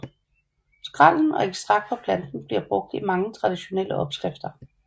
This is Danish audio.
Skrællen og ekstrakt fra planten bliver brugt i mange traditionelle opskrifter